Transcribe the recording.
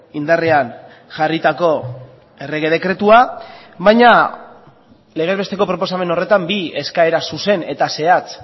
indarrean jarritako errege dekretua baina legez besteko proposamen horretan bi eskaera zuzen eta zehatz